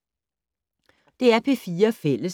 DR P4 Fælles